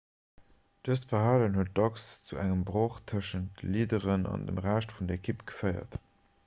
dëst verhalen huet dacks zu engem broch tëschent de leaderen an dem rescht vun der ekipp geféiert